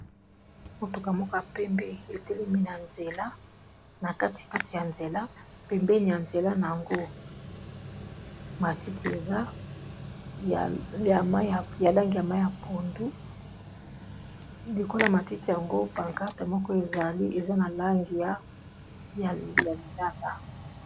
Motuka moka pembe, etelemi na nzela na kati kati ya nzela pembeni ya nzela na yango matiti eza ya langi ya mai ya pondu, likolo matiti yango pankate moko ezali eza na langi ya lilanga.